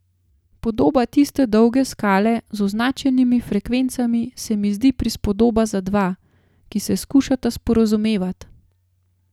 Podoba tiste dolge skale z označenimi frekvencami se mi zdi prispodoba za dva, ki se skušata sporazumevat.